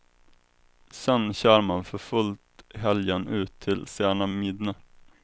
Sen kör man för fullt helgen ut till sena midnatt.